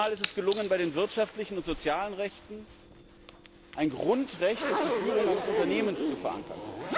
Zum ersten Mal ist es gelungen, bei den wirtschaftlichen und den sozialen Rechten ein Grundrecht auf die Führung eines Unternehmens zu verankern.